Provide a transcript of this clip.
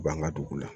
U b'an ka dugu la